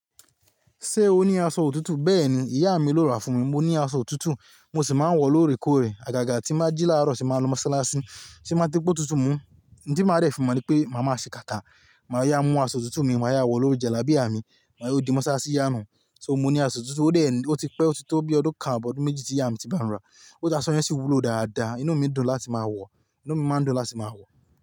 Ṣé o ní aṣọ òtútù? Bẹ́ẹ̀ni, ìyá mi ló rà fún mi. Mo ní aṣọ òtútù, mo sì máa ń wọ̀ lóòrèkóòrè. Àgàgà tí má jí láàárọ̀ ṣe máa ń lọ́ sáláásí. Ti máa ń típo tuntun mú. Nǹ tí màá dẹ̀ fi mo ni pé màá máa ṣe kàtà. Màá yá mú aṣọ òtútù mi, màá yá wọ̀ lórí jàlábìà mi, màá yóò di mọ́sásí yá nù. So mo ní aṣọ òtútù ó dè é ni, ó ti pẹ́, ó ti tó bíi ọdún kan àbọ̀ ọdún méjì tí ìyá mi ti bá n rà. Ko aṣọ yen sì wúlò dáadáa. Inú mi dùn láti máa wọ̀, inú mi máa ń dùn láti máa wọ̀